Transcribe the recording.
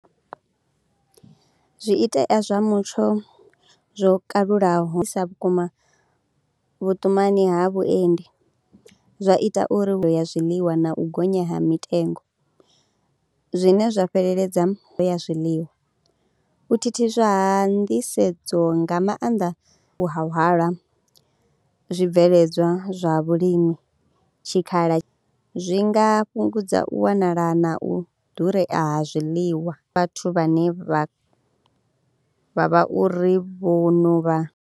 Zwiitea zwa mutsho zwo kalulaho sa vhukuma vhuṱumani ha vhuendi. Zwa ita uri hu ya zwiḽiwa na u gonya ha mitengo zwine zwa fheleledza ya zwiḽiwa. U thithiswa nḓisedzo nga maanḓa ha hwala zwibveledzwa zwa vhulimi tshikhala, zwi nga fhungudza u wanala na u ḓurea ha zwiḽiwa vhathu vhane vha vha vha uri vho no vha.